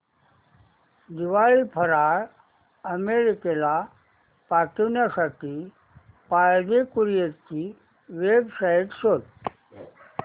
दिवाळी फराळ अमेरिकेला पाठविण्यासाठी पाळंदे कुरिअर ची वेबसाइट शोध